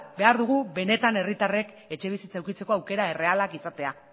behar dugu benetan herritarrek etxebizitza edukitzeko aukera errealak izatea